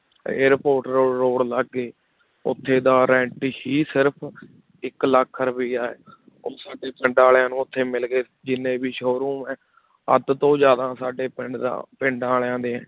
airport ਰੋ~ road ਲੱਗ ਗਏ, ਉੱਥੇ ਦਾ rent ਹੀ ਸਿਰਫ਼ ਇੱਕ ਲੱਖ ਰੁਪਇਆ ਹੈ ਉਹ ਸਾਡੇ ਪਿੰਡ ਵਾਲਿਆਂ ਨੂੰ ਉੱਥੇ ਮਿਲ ਗਏ ਜਿੰਨੇ ਵੀ show-room ਹੈ ਅੱਧ ਤੋਂ ਜ਼ਿਆਦਾ ਸਾਡੇ ਪਿੰਡ ਦਾ ਪਿੰਡ ਵਾਲਿਆਂ ਦੇ